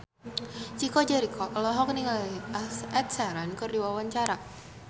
Chico Jericho olohok ningali Ed Sheeran keur diwawancara